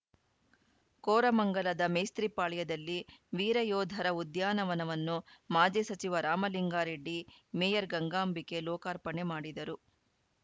ಕೋರಮಂಗಲದ ಮೇಸ್ತ್ರಿಪಾಳ್ಯದಲ್ಲಿ ವೀರ ಯೋಧರ ಉದ್ಯಾನವನವನ್ನು ಮಾಜಿ ಸಚಿವ ರಾಮಲಿಂಗಾರೆಡ್ಡಿ ಮೇಯರ್‌ ಗಂಗಾಂಬಿಕೆ ಲೋಕಾರ್ಪಣೆ ಮಾಡಿದರು